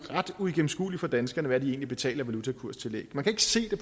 ret uigennemskueligt for danskerne hvad de egentlig betaler i valutakurstillæg man kan ikke se det